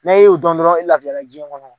N' a y'o dɔn dɔrɔn i lafiya diɲɛ kɔnɔ.